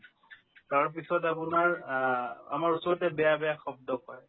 তাৰপিছত আপোনাৰ আ আমাৰ ওচৰতে বেয়া বেয়া শব্দ কয়